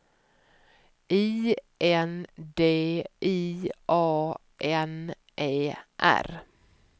I N D I A N E R